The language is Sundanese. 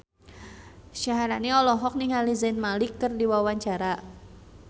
Syaharani olohok ningali Zayn Malik keur diwawancara